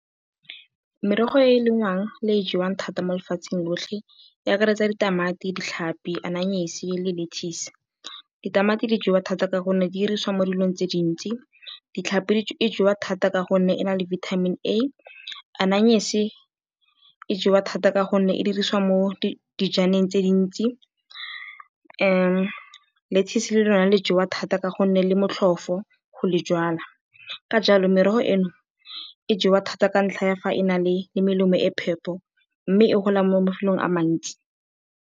Merogo e e lengwang le e e jewang thata mo lefatsheng lotlhe e akaretsa ditamati, ditlhapi, aeye le lettuce. Ditamati di jewa thata ka gonne di dirisiwa mo dilong tse di ntsi. Tlhapi e jewa thata ka gonne e na le Vitamin A. Aeye e jewa thata ka gonne e dirisiwa mo dijaneng tse di ntsi. Lettuce le lone le jewa thata ka gonne le motlhofo go le jwala. Ka jalo merogo eno e jewa thata ka ntlha ya fa e na le melemo e e phepa mme e gola mo mafelong a a mantsi.